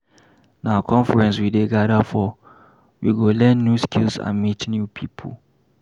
Na conference we dey gather for, we go learn new skills and meet new people.